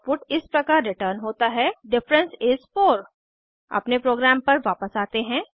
output इस प्रकार return होता है डिफरेंस इस 4 अपने प्रोग्राम पर वापस आते हैं